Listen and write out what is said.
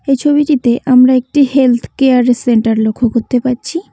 এই ছবিটিতে আমরা একটি হেলথ কেয়ার সেন্টার লক্ষ করতে পারছি।